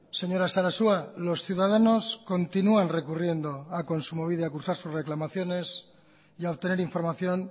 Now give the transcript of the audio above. señora sarasua los ciudadanos continúan recurriendo a kontsumobide a cursar sus reclamaciones y a obtener información